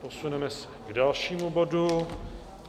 Posuneme se k dalšímu bodu.